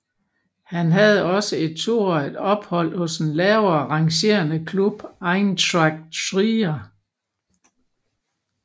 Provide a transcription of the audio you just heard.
Han havde også et toårigt ophold hos den lavere rangerende klub Eintracht Trier